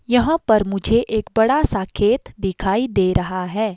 यहां पर मुझे एक बड़ा सा खेत दिखाई दे रहा है।